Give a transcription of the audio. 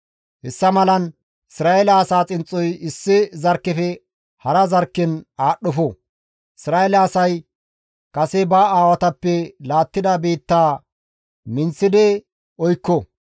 Hessa malan Isra7eele asaa xinxxoy issi zarkkefe hara zarkken aadhdhofo; Isra7eele asay kase ba aawatappe laattida biitta minththi oykko.